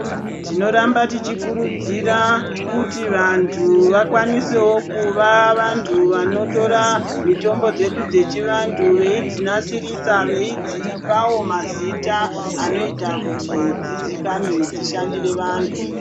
Tinoramba tichikurudzira, kuti vanthu vakwanisewo kuva vanthu vanotora mitombo dzedu dzechivanthu veidzi nasirisa, veidzipawo mazita anoita kuti dziziikanwe, dzishandire vanthu.